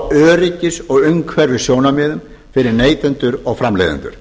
öryggis og umhverfissjónarmiðum fyrir neytendur og framleiðendur